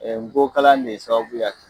Ɛɛ ngo kalan de sabaya